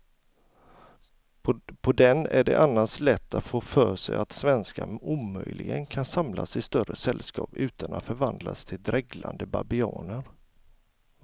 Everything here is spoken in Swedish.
På den är det annars lätt att få för sig att svenskar omöjligen kan samlas i större sällskap utan att förvandlas till dreglande babianer.